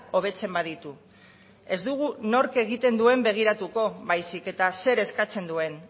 hobetzen baditu ez dugu nork egiten duen begiratuko baizik eta zer eskatzen duen